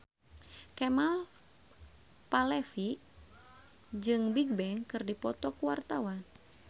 Kemal Palevi jeung Bigbang keur dipoto ku wartawan